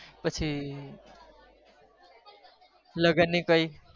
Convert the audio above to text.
પછી લગન ની કૉઈ